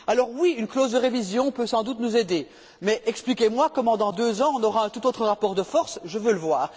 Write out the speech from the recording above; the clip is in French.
Oui, une clause de révision peut sans doute nous aider, mais expliquez moi comment, dans deux ans, nous aurons un tout autre rapport de force. Je demande à voir!